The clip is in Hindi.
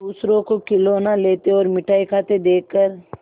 दूसरों को खिलौना लेते और मिठाई खाते देखकर